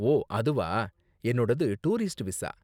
ஓ அதுவா, என்னோடது tourist visa.